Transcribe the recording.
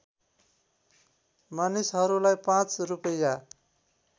मानिसहरूलाई पाँच रूपैयाँ